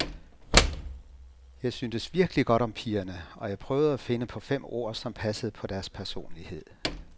Jeg syntes virkelig godt om pigerne, og jeg prøvede at finde på fem ord, som passede på deres personlighed.